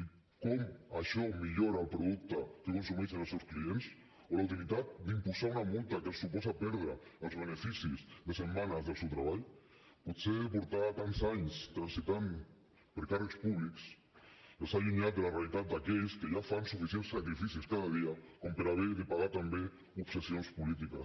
i com això millora el producte que consumeixen els seus clients o la utilitat d’imposar una multa que els suposa perdre els beneficis de setmanes del seu treball potser portar tants anys transitant per càrrecs públics els ha allunyat de la realitat d’aquells que ja fan suficients sacrificis cada dia com per haver de pagar també obsessions polítiques